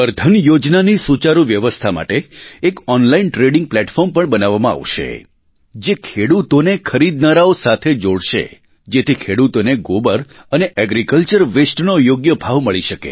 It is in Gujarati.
ગોબર ધન યોજનાની સુચારુ વ્યવસ્થા માટે એક ઓનલાઇન ટ્રેડિંગ પ્લેટફોર્મ પણ બનાવવામાં આવશે જે ખેડૂતોને ખરીદનારાઓ સાથે જોડશે જેથી ખેડૂતોને ગોબર અને એગ્રીકલ્ચર wasteનો યોગ્ય ભાવ મળી શકે